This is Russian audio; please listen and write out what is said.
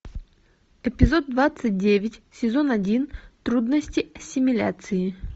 эпизод двадцать девять сезон один трудности ассимиляции